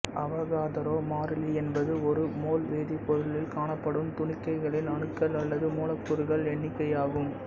அவகாதரோ மாறிலி என்பது ஒரு மோல் வேதிப் பொருளில் காணப்படும் துணிக்கைகளின் அணுக்கள் அல்லது மூலக்கூறுகள் எண்ணிக்கை ஆகும்